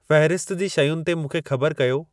फ़हिरिस्त जी शयुनि ते मूंखे ख़बर कयो